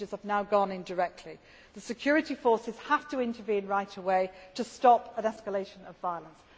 behalf. Messages have now gone in directly. The security forces have to intervene right away to stop an escalation of